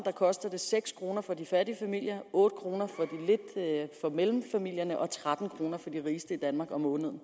koster det seks kroner for de fattige familier otte kroner for familier med mellemindkomster og tretten kroner for de rigeste i danmark om måneden